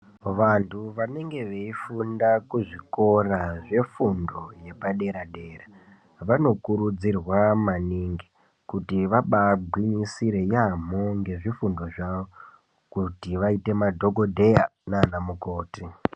Vantu vanenge veifunda kuzvikora zvefundo yepadera-dera. Vanokurudzirwa maningi kuti vabagwinyisire yaamho ngezvifundo zvavo kuti vaite madhogodhleya nana mukoti.